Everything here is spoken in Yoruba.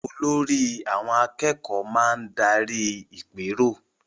Olórí àwọn akẹ́kọ̀ọ́ máa darí ìpérò